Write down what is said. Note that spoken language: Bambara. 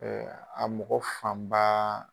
a mɔgɔ fanba